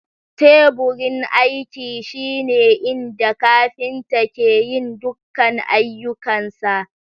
Teburin aiki shine inda kafinta ke yin dukkan ayyukansa.